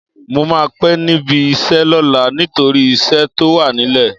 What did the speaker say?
Mo máa pẹ́ níbi iṣẹ́ lọ́la nítorí iṣẹ́ tó wà nílẹ̀.